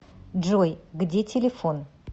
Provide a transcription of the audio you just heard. джой где телефон